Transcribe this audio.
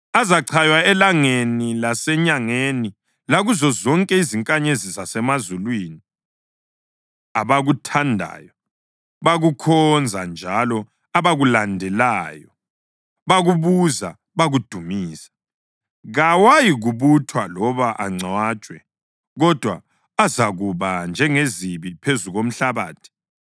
Azachaywa elangeni lasenyangeni lakuzo zonke izinkanyezi zasemazulwini, abakuthandayo bakukhonza njalo abakulandelayo bakubuza bakudumisa. Kawayikubuthwa loba angcwatshwe, kodwa azakuba njengezibi phezu komhlabathi.